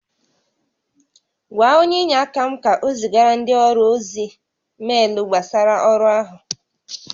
Gwa onye inyeaka m ka o zigara ndị ọrụ ozi meelu gbasara ọrụ áhụ